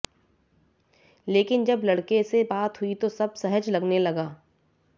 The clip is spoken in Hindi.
लेकिन जब लड़के से बात हुई तो सब सहज लगने लगा